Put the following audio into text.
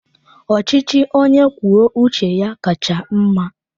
Ọchịchị onye kwuo uche ya kacha mma.